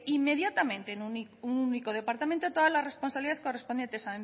inmediatamente en un único departamento todas las responsabilidades correspondientes